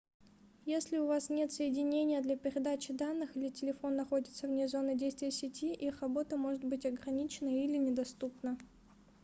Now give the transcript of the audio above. если у вас нет соединения для передачи данных или телефон находится вне зоны действия сети их работа может быть ограничена или недоступна